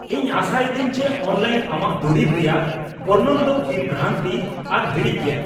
ᱤᱧ ᱟᱥᱟᱭᱤᱫᱟᱹᱧ ᱡᱮ ᱚᱱᱞᱟᱭᱤᱱ ᱟᱢᱟᱜ ᱫᱩᱨᱤᱵ ᱨᱮᱭᱟᱜ ᱵᱚᱨᱱᱚᱱ ᱫᱚ ᱵᱤᱵᱷᱨᱟᱱᱛᱤ ᱟᱨ ᱦᱤᱲᱤᱡ ᱜᱮᱭᱟ ᱾